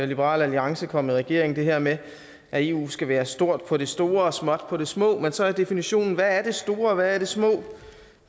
liberal alliance kom i regering nemlig det her med at eu skal være stort på det store og småt på det små men så er definitionen hvad er det store og hvad er det små